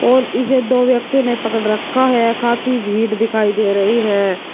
और इसे दो व्यक्ति ने पकड़ रखा है काफी भीड़ दिखाई दे रही है।